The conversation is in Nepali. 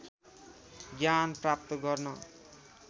ज्ञान प्राप्त गर्न